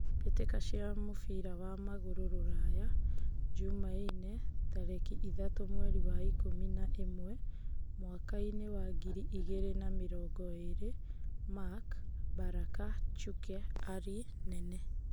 Mbitika cia mũbira wa magũrũ rũraya, Jumaine, tariki ithatũ mweri wa ikũmi na ĩmwe mwakainĩ wa ngiri igĩrĩ na mĩrongo ĩrĩ: Mark, Baraka, Chuke, Ali, Nene.